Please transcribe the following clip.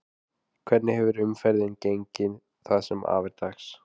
Hvernig hefur umferðin gengið það sem að af er dags?